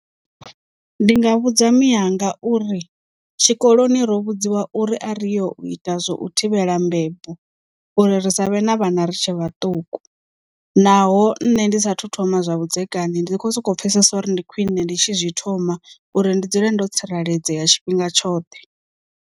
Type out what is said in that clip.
Ndi nga vhudza miyanga uri tshikoloni ro vhudziwa uri a ri yo ita zwo u thivhela mbebo, uri ri savhe na vhana ri tshe vhaṱuku naho nne ndi sathu thoma zwa vhudzekani ndi kho soko pfhesesa uri ndi khwine ndi tshi zwi thoma uri ndi dzule ndo tsireledzea tshifhinga tshoṱhe.